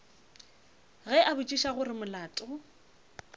ge a botšiša gore molato